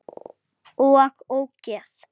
OG ÓGEÐ!